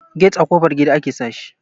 get a ƙofar gida ake sa shi